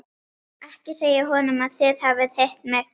Ekki segja honum að þið hafið hitt mig.